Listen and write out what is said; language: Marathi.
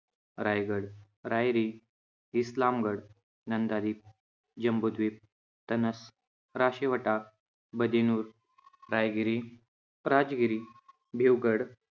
रायगड, रायरी, इस्लामगड, नंदादीप, जम्बूद्वीप, तनस, राशिवटा, बदिनुर, रायगिरी, राजगिरी, भिवगड